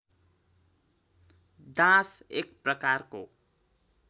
dance एक प्रकारको